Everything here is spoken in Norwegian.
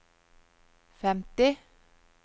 femti